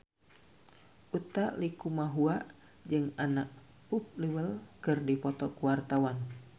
Utha Likumahua jeung Anna Popplewell keur dipoto ku wartawan